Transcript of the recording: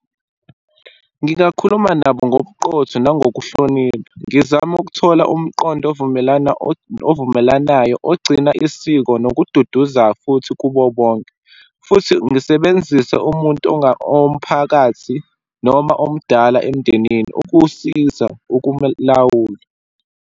Ngingakhuluma nabo ngobuqotho, nangokuhlonipa, ngizame ukuthola umqondo ovumelana, ovumelanayo, ogcina isiko, nokududuza futhi kubo bonke. Futhi ngisebenzise umuntu owomphakathi noma omdala emndenini ukusiza ukumlawula.